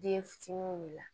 Den fitininw de la